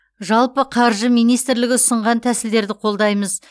жалпы қаржы министрлігі ұсынған тәсілдерді қолдаймыз